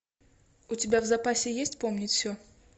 у тебя в запасе есть помнить все